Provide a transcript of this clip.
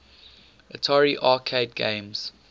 atari arcade games